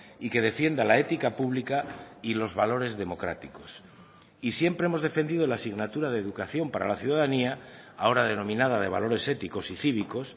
y que defienda la ética pública y los valores democráticos y siempre hemos defendido la asignatura de educación para la ciudadanía ahora denominada de valores éticos y cívicos